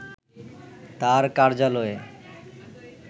তার কার্যালয়ে